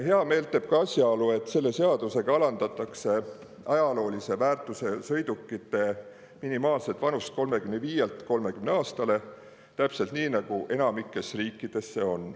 Heameelt teeb ka asjaolu, et selle seadusega alandatakse ajaloolise väärtusega sõidukite minimaalset vanust 35-lt 30 aastale – täpselt nii, nagu see on enamikus riikides.